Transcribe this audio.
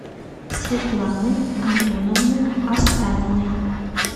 светланы антоновны останиной